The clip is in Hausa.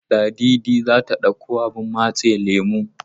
Ladidi za ta ɗauko abun matse lemo.